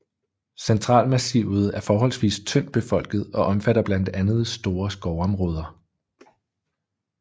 Centralmassivet er forholdsvis tyndt befolket og omfatter blandt andet store skovområder